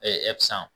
sisan